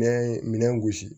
Nɛ ye minɛn gosi